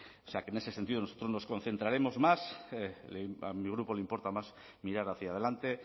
o sea que en ese sentido nosotros nos concentraremos más a mi grupo le importa más mirar hacia adelante